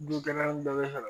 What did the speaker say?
Du kelen bɛɛ bɛ ka